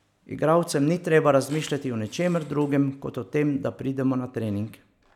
Igralcem ni treba razmišljati o ničemer drugem, kot o tem, da pridemo na trening.